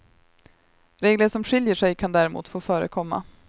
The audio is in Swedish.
Regler som skiljer sig kan däremot få förekomma.